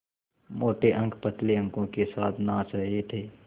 मोटे अंक पतले अंकों के साथ नाच रहे थे